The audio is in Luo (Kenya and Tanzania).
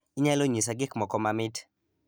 inyalo nyisa gik moko mamit